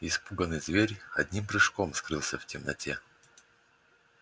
испуганный зверь одним прыжком скрылся в темноте